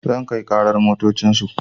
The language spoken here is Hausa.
Zan kai ƙarar motocin su